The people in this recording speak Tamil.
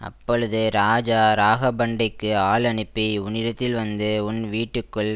அப்போழுது ராஜா ராகபண்டைக்கு ஆள் அனுப்பி உன்னிடத்தில் வந்து உன் வீட்டுக்குள்